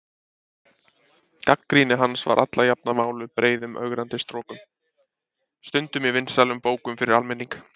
Gagnrýni hans var alla jafna máluð breiðum ögrandi strokum, stundum í vinsælum bókum fyrir almenning.